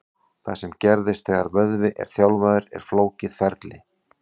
Það sem gerist þegar vöðvi er þjálfaður er flókið ferli.